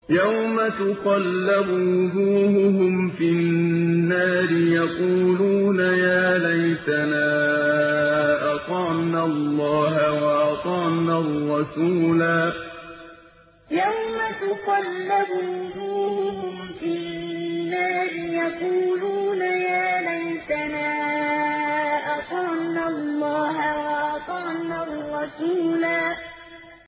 يَوْمَ تُقَلَّبُ وُجُوهُهُمْ فِي النَّارِ يَقُولُونَ يَا لَيْتَنَا أَطَعْنَا اللَّهَ وَأَطَعْنَا الرَّسُولَا يَوْمَ تُقَلَّبُ وُجُوهُهُمْ فِي النَّارِ يَقُولُونَ يَا لَيْتَنَا أَطَعْنَا اللَّهَ وَأَطَعْنَا الرَّسُولَا